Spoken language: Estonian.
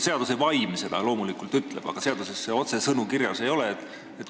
Seaduse vaim seda loomulikult ütleb, aga seaduses otsesõnu kirjas ei ole.